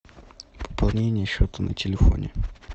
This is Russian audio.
пополнение счета на телефоне